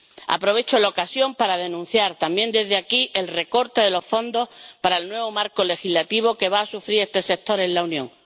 Aprovecho la ocasión para denunciar, también desde aquí, el recorte de los fondos para el nuevo marco financiero que va a sufrir este sector en la Unión.